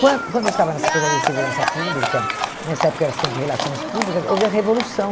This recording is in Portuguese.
Quando quando eu estava na Secretaria de Segurança Pública, nessa época eu era assistente de relações públicas, houve a revolução.